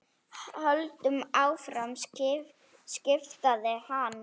Höldum áfram skipaði hann.